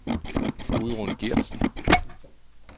Gudrun Geertsen